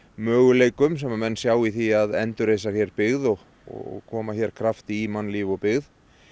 möguleikum sem menn sjá í því að endurreisa hér byggð og og koma hér krafti í mannlíf og byggð